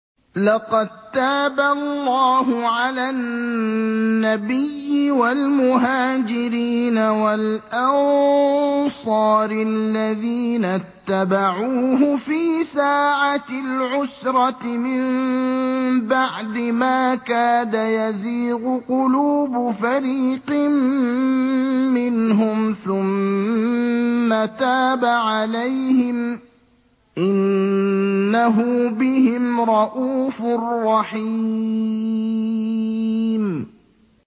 لَّقَد تَّابَ اللَّهُ عَلَى النَّبِيِّ وَالْمُهَاجِرِينَ وَالْأَنصَارِ الَّذِينَ اتَّبَعُوهُ فِي سَاعَةِ الْعُسْرَةِ مِن بَعْدِ مَا كَادَ يَزِيغُ قُلُوبُ فَرِيقٍ مِّنْهُمْ ثُمَّ تَابَ عَلَيْهِمْ ۚ إِنَّهُ بِهِمْ رَءُوفٌ رَّحِيمٌ